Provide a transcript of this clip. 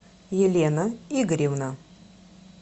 елена игоревна